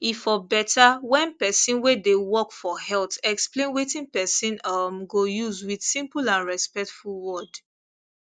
e for better when person way dey work for health explain wetin person um go use with simple and respectful word